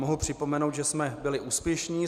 Mohu připomenout, že jsme byli úspěšní.